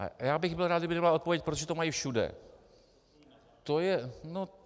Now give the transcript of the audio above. A já bych byl rád, kdyby to nebyla odpověď - protože to mají všude.